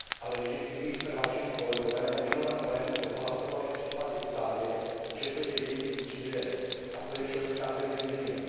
Ale vždyť i my jsme, vážení kolegové, na minulém plénu odhlasovali v případě Itálie, že to je její vnitřní věc. A to je členská země Unie.